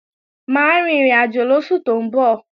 Mà á rin ìrìnàjò lóṣù tó ń bọ̀